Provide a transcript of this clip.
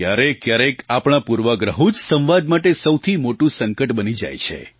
ક્યારેકક્યારેક આપણા પૂર્વાગ્રહો જ સંવાદ માટે સૌથી મોટું સંકટ બની જાય છે